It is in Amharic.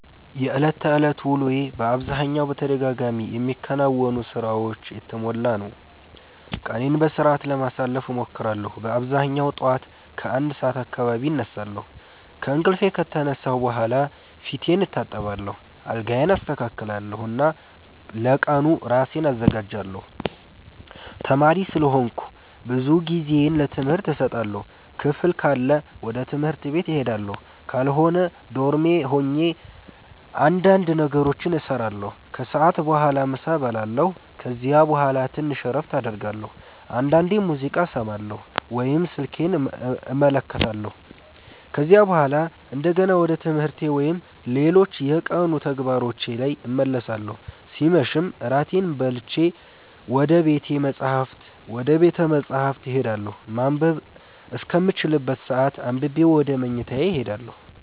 የዕለት ተዕለት ውሎዬ በአብዛኛው በተደጋጋሚ የሚከናወኑ ሥራዎች የተሞላ ነው። ቀኔን በሥርዓት ለማሳለፍ እሞክራለሁ በአብዛኛው ጠዋት ከ1 ሰዓት አካባቢ እነሳለሁ። ከእንቅልፌ ከተነሳሁ በኋላ ፊቴን እታጠባለሁ፣ አልጋዬን አስተካክላለሁ እና ለቀኑ ራሴን አዘጋጃለሁ። ተማሪ ስለሆንኩ ብዙ ጊዜዬን ለትምህርት እሰጣለሁ። ክፍል ካለ ወደ ትምህርት ቤት እሄዳለሁ፣ ካልሆነ ዶርሜ ሆኜ እንዳንድ ነገሮችን እሰራለሁ። ከሰዓት በኋላ ምሳ እበላለሁ ከዚያ በኋላ ትንሽ እረፍት አደርጋለሁ፣ አንዳንዴም ሙዚቃ እሰማለሁ ወይም ስልኬን እመለከታለሁ። ከዚያ በኋላ እንደገና ወደ ትምህርቴ ወይም ሌሎች የቀኑ ተግባሮቼ ላይ እመለሳለሁ ሲመሽም እራቴን በልቼ ወደ ቤተ መፃህፍት እሄዳለሁ ማንበብ እስከምችልበት ሰአት አንብቤ ወደ መኝታዬ እሄዳለሁ።